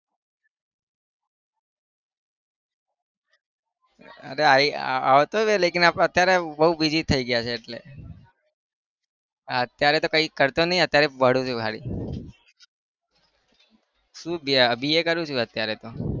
અરે આઈ આવતો लेकिन અત્યારે બહુ busy થઇ ગયા છે એટલે. અત્યારે તો કઈ કરતો નહી અત્યારે ભણું છું ખાલી શું BA કરું છુ અત્યારે તો.